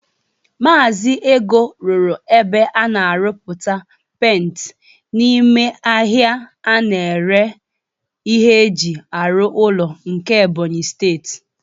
Maazi Ego rụrụ ebe a na-arụpụta penti n'ime ahịa a na-ere ihe eji arụ ụlọ nke Ebonyi steeti.